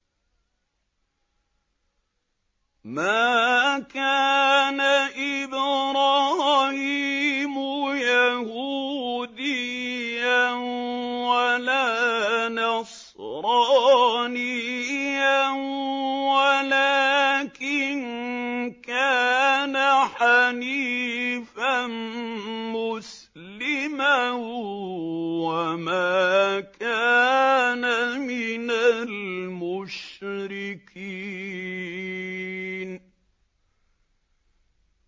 مَا كَانَ إِبْرَاهِيمُ يَهُودِيًّا وَلَا نَصْرَانِيًّا وَلَٰكِن كَانَ حَنِيفًا مُّسْلِمًا وَمَا كَانَ مِنَ الْمُشْرِكِينَ